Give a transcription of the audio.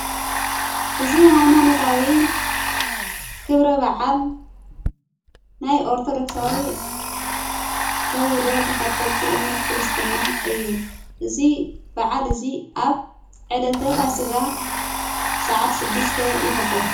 እዝ ኃይማነታዊ ክብረ ባዓል ናይ ኦርተዶክሳዊ ተብሁዶ ተኸተልቲ እምነት ክርስትና እዩ እዙይ ብዓል እዙይ ኣብ ዕለተ ፋስጋ ሰዓት ሽድሽተ ይኽበር።